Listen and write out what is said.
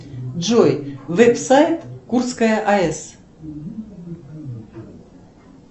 джой веб сайт курская аэс